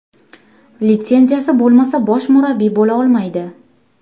Litsenziyasi bo‘lmasa, bosh murabbiy bo‘la olmaydi.